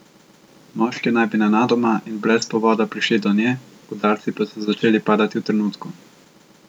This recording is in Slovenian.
Moški naj bi nenadoma in brez povoda prišli do nje, udarci pa so začeli padati v trenutku.